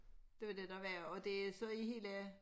Det var det der var og det så i hele